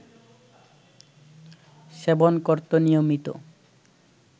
সেবন করত নিয়মিত